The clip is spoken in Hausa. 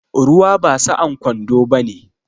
Ruwa ba sa'an kwando bane.